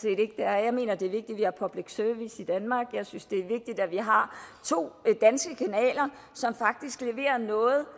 ikke det er jeg mener det er at vi har public service i danmark jeg synes det er vigtigt at vi har to danske kanaler som faktisk leverer noget